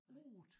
8